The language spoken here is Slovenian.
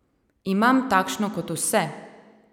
Imam takšno kot vse!